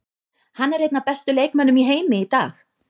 Hann er einn af bestu leikmönnum í heimi í dag.